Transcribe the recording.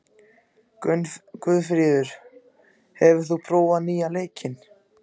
Guðfríður, hefur þú prófað nýja leikinn?